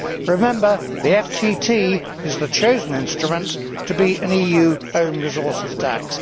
Remember the FTT is the chosen instrument to be an EU own resources tax.